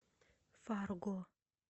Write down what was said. фарго